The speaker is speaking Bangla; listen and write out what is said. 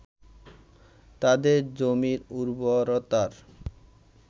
তাদের জমির উর্বরতার